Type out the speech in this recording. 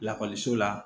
Lakɔliso la